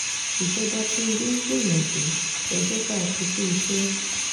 ìjọba tìǹbù ń gbìyànjú ẹ̀ jẹ́ ká kí i kúuṣẹ́